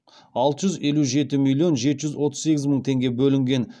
алты жүз елу жеті миллион жеті жүз отыз сегіз мың теңге бөлінген